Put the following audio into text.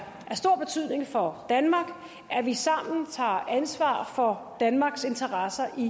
stor betydning for danmark at vi sammen tager ansvar for danmarks interesser i